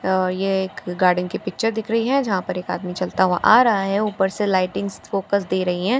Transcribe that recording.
और ये एक गार्डन की पिक्‍च दिख रही है जहां पर एक आदमी चलता हुआ आ रहा है ऊपर से लाइटिंग्‍स फोकस दे रही है और दो सोफा --